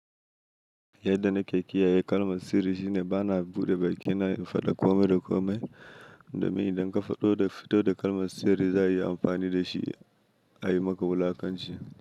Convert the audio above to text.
Yadda nake kiyaye kalmar sirri shine bana buɗe bakina in faɗa kome da kome domin idanka faɗo fito da kalmar sirri za'a iyi amfani dashi ayi maka wulakanci.